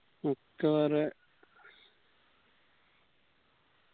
ഒക്ക വേറെ